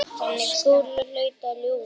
Skúli hlaut að ljúga.